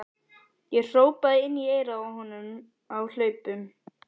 Ég hrópaði inn í eyrað á honum á hlaupunum.